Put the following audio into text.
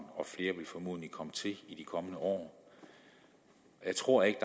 og flere vil formodentlig komme til i de kommende år jeg tror ikke